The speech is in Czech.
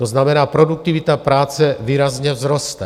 To znamená, produktivita práce výrazně vzroste.